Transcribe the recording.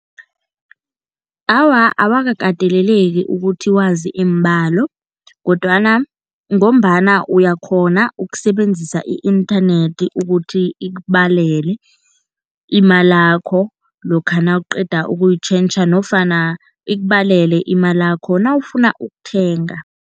Awa, awakakateleleki ukuthi wazi iimbalo kodwana ngombana uyakghona ukusebenzisa i-inthanethi ukuthi ikubalele imalakho lokha nawuqeda ukuyitjhentjha nofana ikubalele imalakho nawufuna ukuthenga.